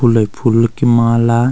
फुले ही फूल की माला।